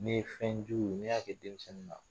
Ne ye fɛn jugu ye ni y'a kɛ denmisɛnnin na